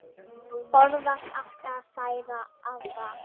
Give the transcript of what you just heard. Forðast átti að særa aðra.